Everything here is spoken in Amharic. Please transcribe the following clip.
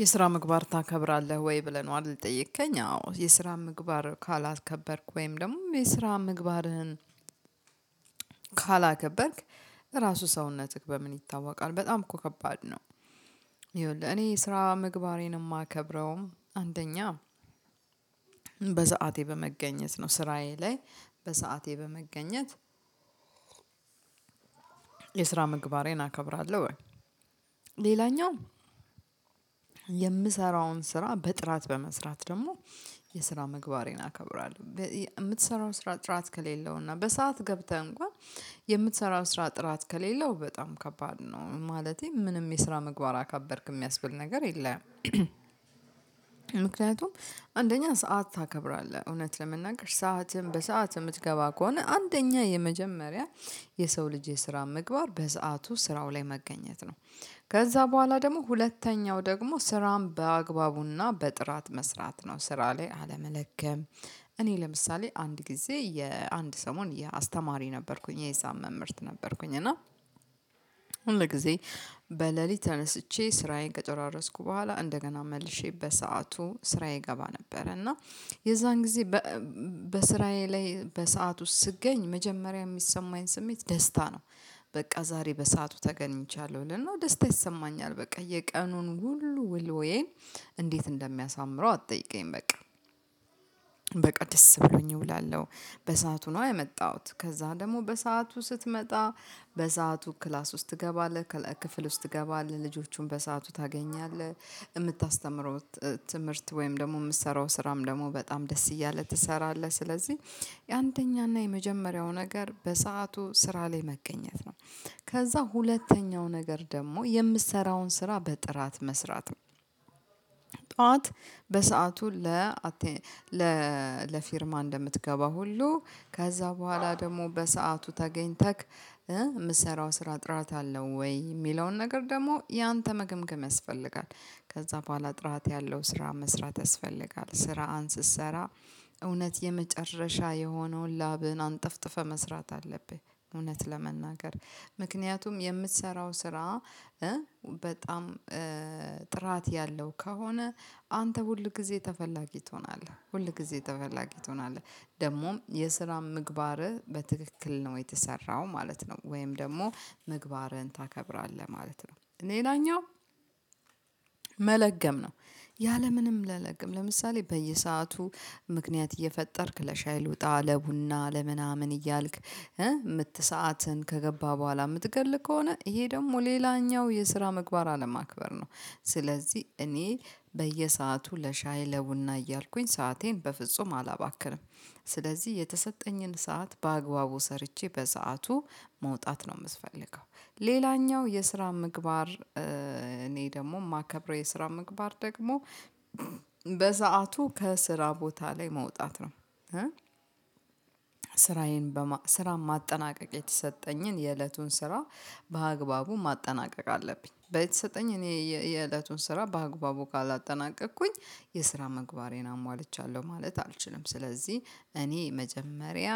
የስራ ምግባር ታከብራለህ ወይ? ብለይ ነው አይደል የጠየከኝ? አዎ የስራ ምግባር ካላከበርኩ ወይም ደግሞ የስራ ምግባርህን ካላከበርክ ራሱ ሰውነትህ በምን ይታወቃል? በጣም እኮ ከባድ ነው ይኸውልህ እኔ ስራ ምግባሬን የማከብረውም አንደኛ በሰአቴ በመገኘት ነው ስራዬ ላይ በሰአቴ በመገኘት የስራ ምግባሬን አከብራለው ወይ ሌላኛው የምሰራውን ስራ በጥራት በመስራት ደግሞ የስራ ምግባሬን አከብራለው የምትሰራው ስራ ጥራት ከሌለው እና በሰአት ገብተህ እንኳን የምትሰራው ስራ ጥራት ከሌለው በጣም ከባድ ነው ማለቴ ምንም የስራ ምግባር አካበርክ የሚያስብል ነገር የለም። ምክንያቱም አንደኛ ሰዓት ታከብራለህ እውነት ለመናገር ሰዓትህን በሰአት የምትገባ ከሆነ አንደኛ የመጀመሪያ የሰው ልጅ የስራ ምግባር በሰአቱ ስራው ላይ መገኘት ነው። ከዛ ቦኋላ ደግሞ ሁለተኛው ደግሞ ስራን በአግባቡና በጥራት መስራት ነው ስራ ላይ አለመለገም። እኔ ለምሳሌ አንድ ጊዜ የአንድ ሰሞን የአስተማሪ ነበርኩኝ የሂሳብ መምህርት ነበርኩኝ እና ሁል ጊዜ በሌሊት ተነስቼ ስራዬን ከጨራረስኩ ቦኋላ እንደገና መልሼ በሰአቱ ስራዬ ይገባ ነበር እና የዛን ጊዜ በስራዬ ላይ በሰአት ውስጥ ስገኝ መጀመሪያ የሚሰማኝ ስሜት ደስታ ነው። በቃ ዛሬ በሰአቱ ተገኝቻለሁ አል አና ደስታ ይሰማኛል በቃ። የቀኑን ሁሉ ውሎዬን እንዴት እንደሚያሳምረው አትጠይቀኝ በቃ በቃ ደስ ብሎኝ እውላለው በሰአቱ ነዋ የመጣሁት ከዛ ደግሞ በሰአቱ ስትመጣ በሰአቱ ክላስ ውስጥ ትገባለህ ክፍል ውስጥ ትገባለህ ልጆቹን በሰአቱ ታገኛለህ። የምታስተምረው ትምህርት ወይም ደግሞ የምትሰራው ስራም ደግሞ በጣም ደስ እያለ ትሰራለህ ስለዚህ የአንደኛና የመጀመሪያው ነገር በሰአቱ ስራ ላይ መገኘት ነው። ከዛ ሁለተኛው ነገር ደግሞ የምትሰራውን ስራ በጥራት መስራት ጡዋት በሰአቱ ለ ለፊርማ እንደምትገባ ሁሉ ከዛ ቦኋላ ደግሞ በሰአቱ ተገኝተክ የምሰራው ስራ ጥራት አለው ወይ? የሚለውን ነገር ደግሞ ያንተ መገምገም ያስፈልጋል ከዛ ቦኋላ ጥራት ያለው ስራ መስራት ያስፈልጋል ስራ ን ስትሰራ እውነት የመጨረሻ የሆነውን ላብህን አንጠፍጥፈህ መስራት አለብህ። እውነት ለመናገር ምክንያቱም የምትሰራው ስራ በጣም ጥራት ያለው ከሆነ አንተ ሁል ጊዜ ተፈላጊ ትሆናለህ ሁል ጊዜ ተፈላጊ ትሆናለህ ደግሞ የስራ ምግባርህ በትክክል ነው የተሰራው ማለት ነው። ወይም ደግሞ ምግባርህን ታከብራለህ ማለት ነው ሌላኛው መለገም ነው ያለምንም ለለገም ለምሳሌ በየሰአቱ ምክንያት እየፈጠርክ ለሻይ ልውጣ ለቡና ለምናምን እያልክ ምት ሰዓትን ከገባ ቦኋላ የምትገል ከሆነ ይሄ ደግሞ ሌላኛው የስራ ምግባር አለማክበር ነው። ስለዚህ እኔ በየሰአቱ ለሻይ ለቡና እያልኩኝ ሰአቴን በፍጹም አላባክርም ስለዚህ የተሰጠኝን ሰዓት በአግባቡ ሰርቼ በሰአቱ መውጣት ነው የምትፈልገው ሌላኛው የስራ ምግባር እኔ ደግሞ የማከብረው የስራ ምግባር ደግሞ በሰአቱ ከስራ ቦታ ላይ መውጣት ነው። ስራዬን ስራ ማጠናቀቅ የተሰጠኝን የእለቱን ስራ በአግባቡ ማጠናቀቅ አለብኝ በየተሰጠኝን የእለቱን ስራ በአግባቡ ካላጠናቀቅኩኝ የስራ ምግባሬን አሟልቻለሁ ማለት አልችልም። ስለዚህ እኔ መጀመሪያ